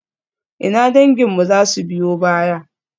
Ina danginmu za su biyo baya?